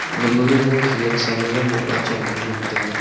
gama gaga khanyank salo e boh a chong le ngan taga.